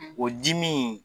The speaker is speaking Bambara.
; O di min